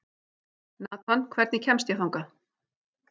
Nathan, hvernig kemst ég þangað?